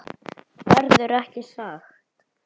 Verður ekki sagt.